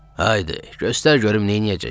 Haydı, göstər görüm neyləyəcəksən?